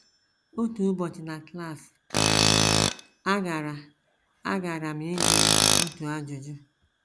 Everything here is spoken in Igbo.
Otu ụbọchị na klas, agara agara m ịjụ ya otu ajụjụ.